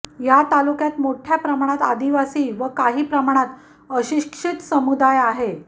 या तालुक्यात मोठ्या प्रमाणात आदिवासी व काही प्रमाणात अशिक्षित समुदाय आहे